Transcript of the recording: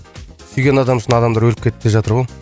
сүйген адамы үшін адамдар өліп кетіп те жатыр ғой